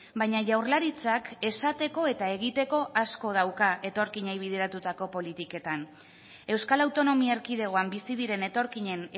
baina jaurlaritzak esateko eta egiteko asko dauka etorkinei bideratutako politiketan euskal autonomia erkidegoan bizi diren etorkinen